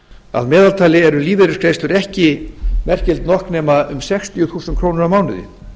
að meðaltali eru lífeyrisgreiðslur ekki merkilegt nokk nema um sextíu þúsund krónur á mánuði